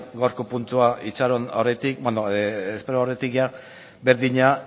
gaurko puntua espero aurretik berdina